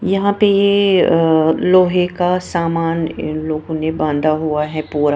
यहां पे ये अ लोहे का सामान इन लोगों ने बांधा हुआ है पूरा--